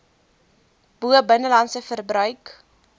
bo binnelandse verbruik